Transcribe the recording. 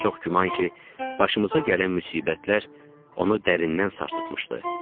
Çox güman ki, başımıza gələn müsibətlər onu dərindən sarsıtmışdı.